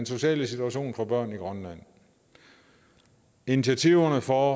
sociale situation for børn i grønland initiativerne for